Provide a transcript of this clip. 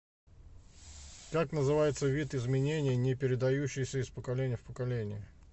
как называется вид изменений не передающийся из поколения в поколение